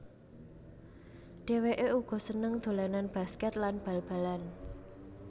Dhewéké uga seneng dolanan basket lan bal balan